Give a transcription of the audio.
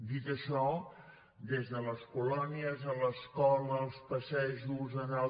dit això des de les colònies a l’escola als passejos anar al